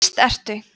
víst ertu